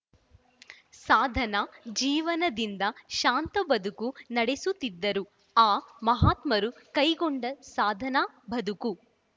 ಸಾಧನಾ ಜೀವನದಿಂದ ಶಾಂತ ಬದುಕು ನಡೆಸುತ್ತಿದ್ದರು ಆ ಮಹಾತ್ಮರು ಕೈಗೊಂಡ ಸಾಧನಾ ಬದುಕು